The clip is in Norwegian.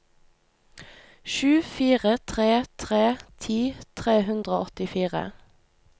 sju fire tre tre ti tre hundre og åttifire